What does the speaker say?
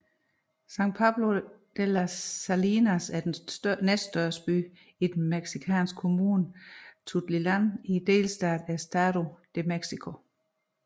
San Pablo de las Salinas er den næststørste by i den mexikanske kommune Tultitlán i delstaten Estado de México